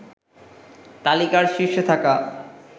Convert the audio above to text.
তালিকার শীর্ষে থাকা